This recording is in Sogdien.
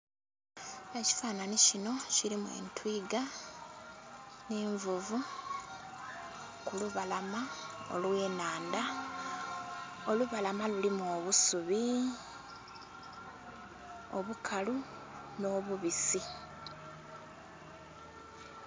Ekifanhanye kino kirimu etwiga n'envuvu kulubalama olwenhanda, olubalama lulimu obusubi obukalu n'obubisi.